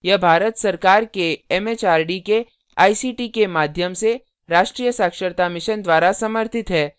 यह भारत सरकार एमएचआरडी के आईसीटी के माध्यम से राष्ट्रीय साक्षरता mission द्वारा समर्थित है